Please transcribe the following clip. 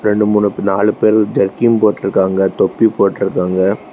ரெண்டு மூணுப் நாலு பேரு ஜர்கின் போட்ருக்காங்க தொப்பி போட்ருக்காங்க.